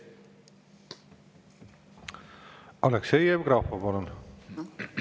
Aleksei Jevgrafov, palun!